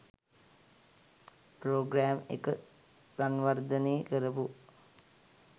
programme එක සංවර්ධනේ කරපු